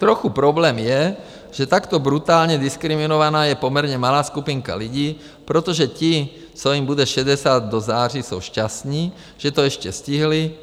Trochu problém je, že takto brutálně diskriminovaná je poměrně malá skupinka lidí, protože ti, co jim bude 60 do září, jsou šťastní, že to ještě stihli.